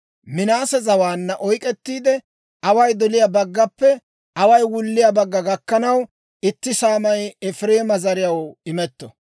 Minaase zawaanna oyk'k'ettiide, away doliyaa baggappe away wulliyaa bagga gakkanaw itti saamay Efireema zariyaw imetto.